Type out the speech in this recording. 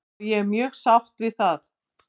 Og ég er mjög sátt við það.